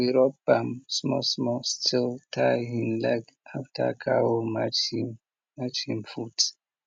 we rub balm small small still tie hin leg after cow match him match him foot